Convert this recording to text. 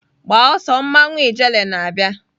Gbaa ọsọ mmawu ijele na-abịa!